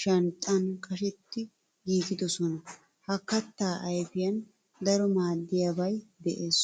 shanxxan qashetti giigidosonna. Ha katta ayfiyan daro maadiyabay de'ees.